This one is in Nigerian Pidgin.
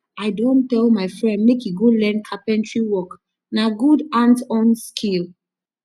i don tell my friend make he go learn carpentry work na good hands-on skill